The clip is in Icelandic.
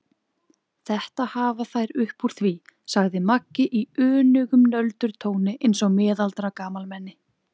Þetta hafa þær upp úr því, sagði Maggi í önugum nöldurtóni eins og miðaldra gamalmenni.